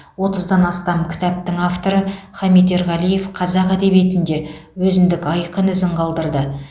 отыздан астам кітаптың авторы хамит ерғалиев қазақ әдебиетінде өзіндік айқын ізін қалдырды